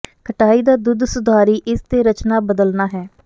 ਖਟਾਈ ਦਾ ਦੁੱਧ ਸੁਧਾਰੀ ਇਸ ਦੇ ਰਚਨਾ ਬਦਲਦਾ ਹੈ